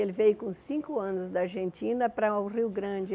Ele veio com cinco anos da Argentina para o Rio Grande.